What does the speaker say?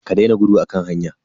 Ka daina gudu a kan hanya.